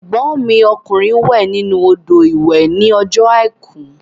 Ẹ̀gbọ́n mi ọkùnrin wẹ̀ nínú odò ìwẹ̀ ní ọjọ́ àìkú